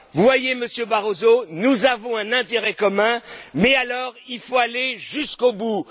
pas. Voyez, Monsieur Barroso, nous avons un intérêt commun, mais il faut aller jusqu'au